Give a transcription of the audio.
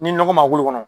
Ni nɔgɔ ma bolo kɔnɔ